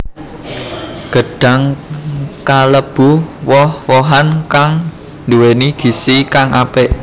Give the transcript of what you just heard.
Gedhang kalêbu woh wohan kang nduwèni gizi kang apik